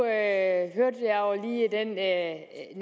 at det gør at